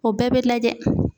O bɛɛ bɛ lajɛ.